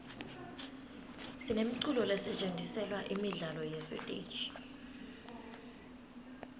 sinemiculo lesetjentiselwa imidlalo yesiteji